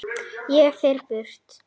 Ég fer burt.